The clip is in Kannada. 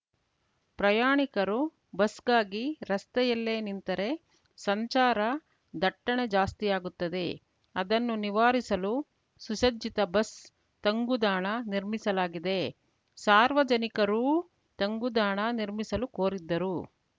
ಪ್ರಯಾಣಿಕರು ಬಸ್‌ಗಾಗಿ ರಸ್ತೆಯಲ್ಲೇ ನಿಂತರೆ ಸಂಚಾರ ದಟ್ಟಣೆ ಜಾಸ್ತಿಯಾಗುತ್ತದೆ ಅದನ್ನು ನಿವಾರಿಸಲು ಸುಸಜ್ಜಿತ ಬಸ್‌ ತಂಗುದಾಣ ನಿರ್ಮಿಸಲಾಗಿದೆ ಸಾರ್ವಜನಿಕರೂ ತಂಗುದಾಣ ನಿರ್ಮಿಸಲು ಕೋರಿದ್ದರು